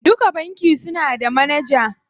Duka banki suna da manaja.